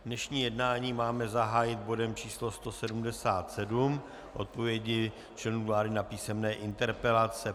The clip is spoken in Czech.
Dnešní jednání máme zahájit bodem číslo 177 - Odpovědi členů vlády na písemné interpelace.